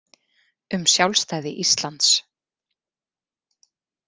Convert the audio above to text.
Um sjálfstæði Íslands.